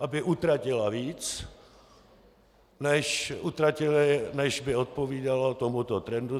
aby utratila víc, než by odpovídalo tomuto trendu.